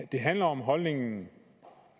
det handler om holdningen